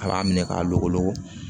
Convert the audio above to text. A b'a minɛ k'a logolo